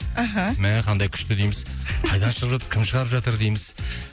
аха мә қандай күшті дейміз қайдан шығып жатыр кім шығарып жатыр дейміз